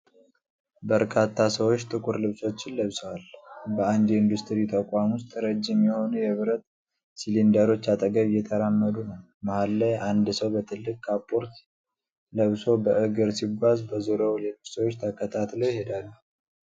በርካታ ሰዎች ጥቁር ልብሶችን ለብሰው፣ በአንድ የኢንዱስትሪ ተቋም ውስጥ ረጅም የሆኑ የብረት ሲሊንደሮች አጠገብ እየተራመዱ ነው። መሃል ላይ አንድ ሰው በትልቅ ጥቁር ካፖርት ለብሶ በእግር ሲጓዝ፣ በዙሪያው ሌሎች ሰዎች ተከታትለው ይሄዳሉ።